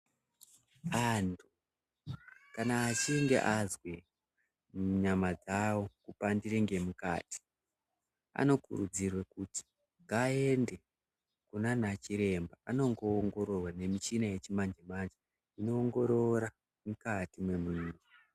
Anhu kama achingee azwa nyama dzawo kupandire ngemukati anokurudzirwe kuti vaende kunana chiremba vanowongororwa nemichina yechimanje manje inowongorora mukati mwemuntu.